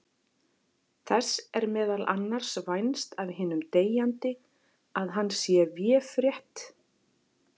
Þess er meðal annars vænst af hinum deyjandi að hann sé véfrétt.